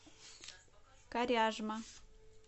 коряжма